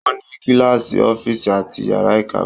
Wọ́n ní kíláàsì, ọ́fíìsì àti yàrá ìkàwé.